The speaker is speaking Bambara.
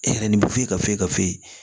E yɛrɛ nin bɛ f'u ye ka fɔ i ka fu ye